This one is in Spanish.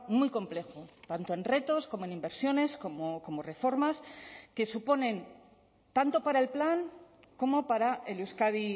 muy complejo tanto en retos como en inversiones como reformas que suponen tanto para el plan como para el euskadi